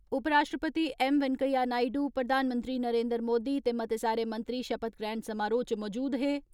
वैंकेया नायडू, प्रधानमंत्री नरेंद्र मोदी ते मते सारे मंत्री शपथ ग्रहण समारोह इच मौजूद हे।